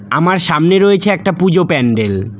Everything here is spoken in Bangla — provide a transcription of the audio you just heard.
আমার সামনে রয়েছে একটা পূজো প্যান্ডেল ।